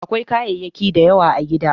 Akwai kayayyaki da yawa a gida.